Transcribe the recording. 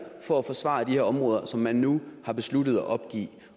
for at forsvare de områder som man nu har besluttet at opgive